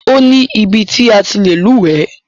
Ó ní ibi ti a ti lè lúwẹ̀ẹ́.